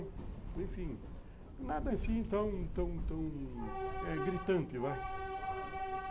Enfim, nada assim tão tão tão tão eh gritante, vai.